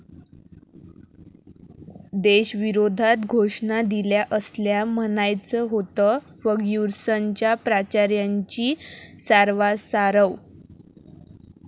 देशविरोधात घोषणा दिल्या 'असल्यास' म्हणायचं होतं, 'फर्ग्युसन'च्या प्राचार्यांची सारवासारव